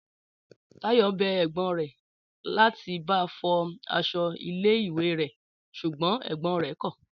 Táyọ̀ bẹ ẹ̀gbọ́n rẹ̀ láti ba fọ aṣọ ilé ìwé rẹ̀ ṣùgbọ́n ẹ̀gbọ́n rẹ̀ kọ̀